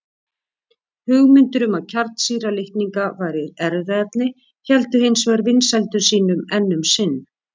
Hugmyndir um að kjarnsýra litninga væri erfðaefni héldu hins vegar vinsældum sínum enn um sinn.